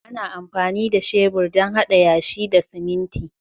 Ana amfani da shebur don haɗa yashi da siminti